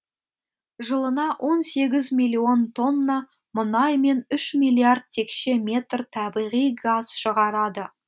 жылына он сегіз миллион тонна мұнай мен үш миллиард текше метр табиғи газ шығарады